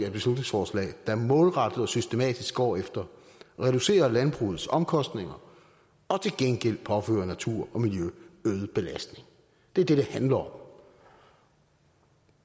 et beslutningsforslag der målrettet og systematisk går efter at reducere landbrugets omkostninger og til gengæld påføre natur og miljø øget belastning det er det det handler om